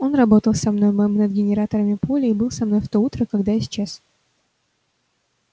он работал со мной мэм над генераторами поля и был со мной в то утро когда исчез